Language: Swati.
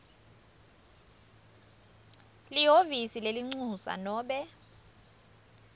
lihhovisi lelincusa nobe